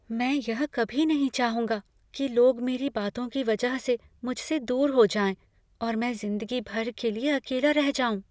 मैं यह कभी नहीं चाहूँगा कि लोग मेरी बातों की वजह से मुझसे दूर हो जाएँ और मैं ज़िंदगी भर के लिए अकेला रह जाऊँ।